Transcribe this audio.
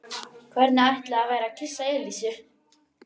Hvernig ætli það væri að kyssa Elísu?